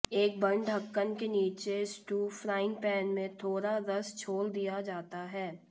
एक बंद ढक्कन के नीचे स्टू फ्राइंग पैन में थोड़ा रस छोड़ दिया जाता है